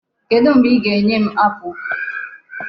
Kedụ mgbe ị ga-enye m apple?